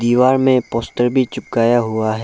दीवार में पोस्ट भी चिपकाया हुआ है।